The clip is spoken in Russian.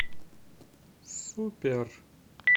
супер